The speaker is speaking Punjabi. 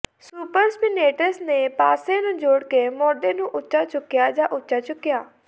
ਸੁਪਰਸਪਿਨੈਟਸ ਨੇ ਪਾਸੇ ਨੂੰ ਜੋੜ ਕੇ ਮੋਢੇ ਨੂੰ ਉੱਚਾ ਚੁੱਕਿਆ ਜਾਂ ਉੱਚਾ ਚੁੱਕਿਆ